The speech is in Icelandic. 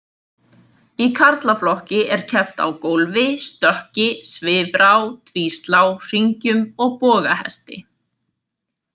Í karlaflokki er keppt á gólfi, stökki, svifrá, tvíslá, hringjum og bogahesti.